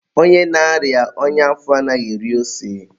onye na-arịa ọnya afọ anaghị eri ose.